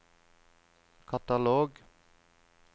katalog